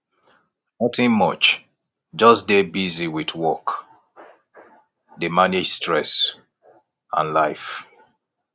nothing much just dey busy with work dey manage stress and life